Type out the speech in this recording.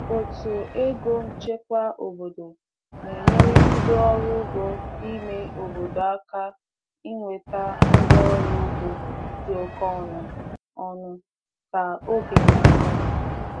Otu ego nchekwa obodo na-enyere ndị ọrụ ugbo ime obodo aka inweta ngwaọrụ ugbo dị oke ọnụ ọnụ ka oge na-aga.